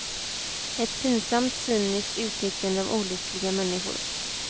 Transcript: Ett pinsamt, cyniskt utnyttjande av olyckliga människor.